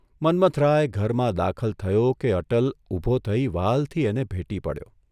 મન્મથરાય ઘરમાં દાખલ થયો કે અટલ ઊભો થઇ વ્હાલથી એને ભેટી પડ્યો.